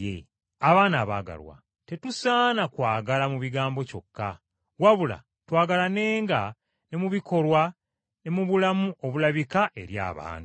Abaana abaagalwa, tetusaana kwagala mu bigambo kyokka, wabula twagalanenga ne mu bikolwa ne mu bulamu obulabika eri abantu.